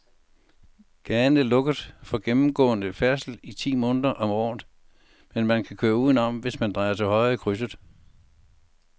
Gaden er lukket for gennemgående færdsel ti måneder om året, men man kan køre udenom, hvis man drejer til højre i krydset.